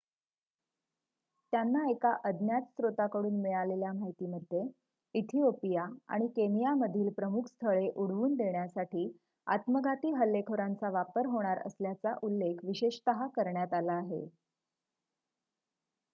"त्यांना एका अज्ञात स्त्रोताकडून मिळालेल्या माहितीमध्ये इथिओपिया आणि केनियामधील "प्रमुख स्थळे" उडवून देण्यासाठी आत्मघाती हल्लेखोरांचा वापर होणार असल्याचा उल्लेख विशेषतः करण्यात आला आहे.